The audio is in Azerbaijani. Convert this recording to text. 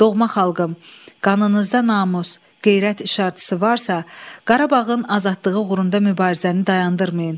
Doğma xalqım, qanınızda namus, qeyrət işartısı varsa, Qarabağın azadlığı uğrunda mübarizəni dayandırmayın.